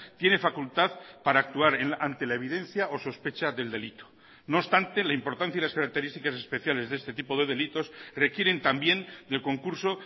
tiene facultad para actuar ante la evidencia o sospecha del delito no obstante la importancia y las características especiales de este tipo de delitos requieren también del concurso